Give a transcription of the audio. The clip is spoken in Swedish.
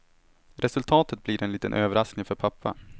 Resultatet blir en liten överraskning för pappa.